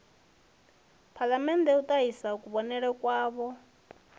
phalamennde u ṱahisa kuvhonele kwavho